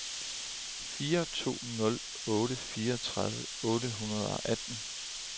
fire to nul otte fireogtredive otte hundrede og atten